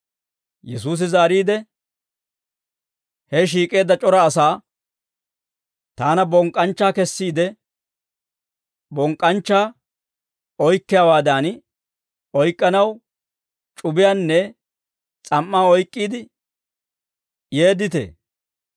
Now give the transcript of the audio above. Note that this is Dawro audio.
Yesuusi zaariide, he shiik'eedda c'ora asaa, «Taana bonk'k'anchcha kessiide, bonk'k'anchchaa oyk'k'iyaawaadan oyk'k'anaw c'ubiyaanne s'am"aa oyk'k'iide yeedditee?